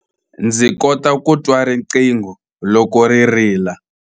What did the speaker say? Ndzi kota ku twa riqingho loko ri rila.